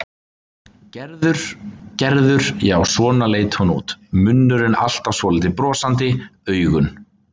Gerður, Gerður, já, svona leit hún út, munnurinn alltaf svolítið brosandi, augun.